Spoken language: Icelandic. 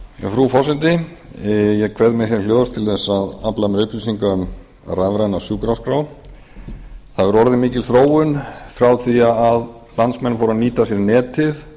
frú forseti ég kveð mér hér hljóðs til þess að afla mér upplýsinga um rafræna sjúkraskrá það hefur orðið mikil þróun frá því að landsmenn fóru að nýta sér netið